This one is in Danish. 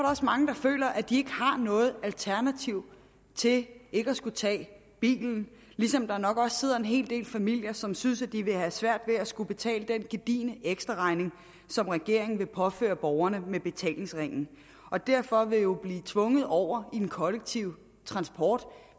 også mange der føler at de ikke har noget alternativ til at skulle tage bilen ligesom der nok også sidder en hel del familier som synes at de vil få svært ved at skulle betale den gedigne ekstraregning som regeringen vil påføre borgerne med betalingsringen og derfor vil blive tvunget over i den kollektive transport